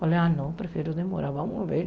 Falei, ah, não, prefiro demorar, vamos ver.